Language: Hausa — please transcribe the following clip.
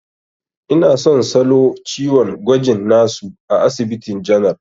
Ina son salo ciwon gwajin na su a asibitin janar.